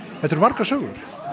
þetta eru margar sögur